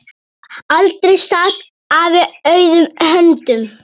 Aldrei sat afi auðum höndum.